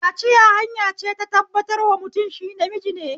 Kaciya hanya ce ta tabbatar wa mutum shi namiji ne